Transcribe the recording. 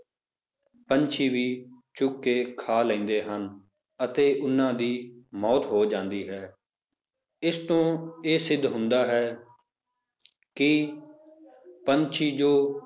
ਪੰਛੀ ਵੀ ਚੁੱਕ ਕੇ ਖਾ ਲੈਂਦੇ ਹਨ, ਅਤੇ ਉਹਨਾਂ ਦੀ ਮੌਤ ਹੋ ਜਾਂਦੀ ਹੈ ਇਸਤੋਂ ਇਹ ਸਿੱਧ ਹੁੰਦਾ ਹੈ ਕਿ ਪੰਛੀ ਜੋ